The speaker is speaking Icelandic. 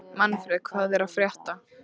Manfred, hvað er að frétta?